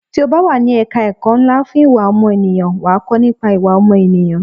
Tí o bá wà ní ẹ̀ka ẹ̀kọ́ ńlá fún ìwà ọmọnìyàn, wà á kọ́ nípa ìwà ọmọ ènìyàn.